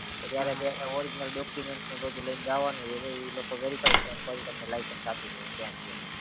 કે જયારે બે યા original documents ને બધું લઈને જવાનું છે એટેલે ઈ લોકો verify કરી પછી તમને license આપડી દે ત્યાં ને ત્યાં